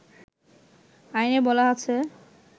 আইনে বলা আছে